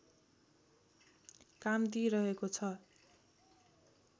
काम दिइरहेको छ